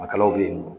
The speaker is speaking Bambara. Makalaw bɛ yen nɔ